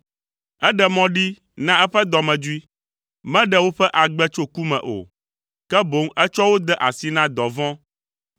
Eɖe mɔ ɖi na eƒe dɔmedzoe; meɖe woƒe agbe tso ku me o, ke boŋ etsɔ wo de asi na dɔvɔ̃.